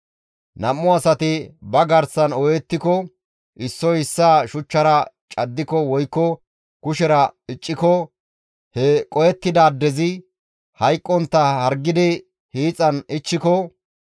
«Nam7u asati ba garsan ooyettiko, issoy issaa shuchchara caddiko woykko kushera icciko he qohettidaadezi hayqqontta hargidi hiixan ichchiko,